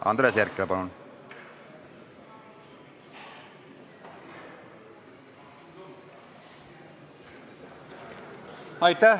Andres Herkel, palun!